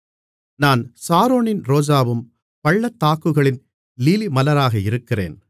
நான் சாரோனின் ரோஜாவும் பள்ளத்தாக்குகளின் லீலிமலராக இருக்கிறேன் மணவாளன்